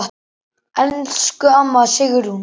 Elsku amma Sigrún.